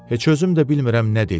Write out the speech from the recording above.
Heç özüm də bilmirəm nə dedim.